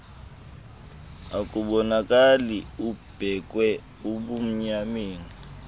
akabonakali ubeekwe ebumnyameni